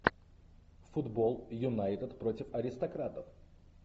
футбол юнайтед против аристократов